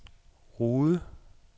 Rude